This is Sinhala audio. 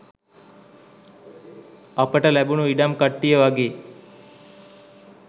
අපට ලැබුණු ඉඩම් කට්ටිය වගේ.